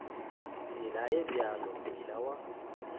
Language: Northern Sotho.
tsela e bjalo meela ya